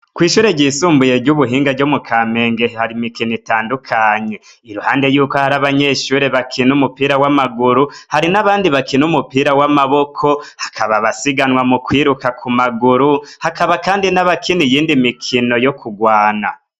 Kw'ishure ryisumbuye ry'ubuhinga ryo mu ka menge hari imikino itandukanye iruhande yuko hari abanyeshure bakina umupira w'amaguru hari n'abandi bakina umupira w'amaboko hakaba basiganwa mu kwiruka ku maguru hakaba, kandi n'abakini yindi mikino yo kugwana.